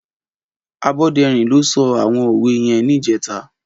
Aboderin ló sò áwòn ówé yèn nijètâ